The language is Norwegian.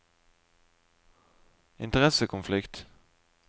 interessekonflikt